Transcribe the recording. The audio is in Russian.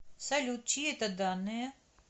салют чьи это данные